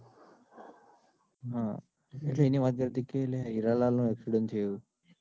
એટલે એને વાત કરી કે હીરાલાલ નો accident થયો એવું.